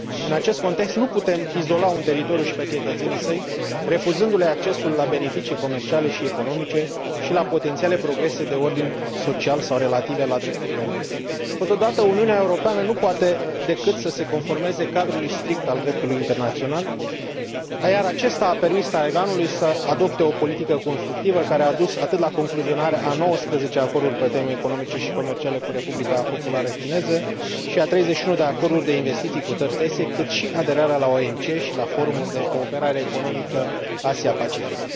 În acest context, nu putem izola un teritoriu și pe cetățenii săi, refuzându le accesul la beneficii comerciale și economice și la potențiale progrese de ordin social sau relative la drepturile omului. Totodată, Uniunea Europeană nu poate decât să se conformeze cadrului strict al dreptului internațional, iar acesta a permis Taiwanului să adopte o politică constructivă care a dus atât la concluzionarea a 19 acorduri pe teme economice și comerciale cu Republica Populară Chineză și a 31 de acorduri de investiții cu țări terțe, cât și la aderarea la OMC și la Forumul de Cooperare Economică Asia Pacific.